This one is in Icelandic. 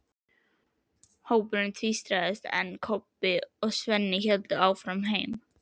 Hópurinn tvístraðist, en Kobbi og Svenni héldu áfram heim.